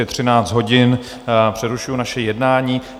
Je 13 hodin, přerušuji naše jednání.